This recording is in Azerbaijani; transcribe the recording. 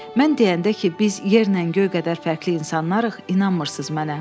Mən deyəndə ki, biz yerlə göy qədər fərqli insanlarıq, inanmırsız mənə.